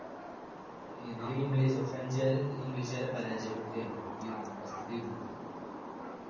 ഇതില് english french കാര് english കാരെ പരാജയപ്പെടുത്തുകയാ ചെയ്തത് ഈ യുദ്ധത്തിൽ first ത്തെ യുദ്ധത്തിൽ